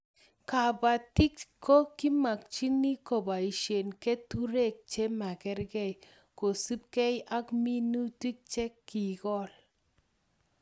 Kabatik ko kimakchini kobaishe keturek che makargei kosupkei ak minutik che kikol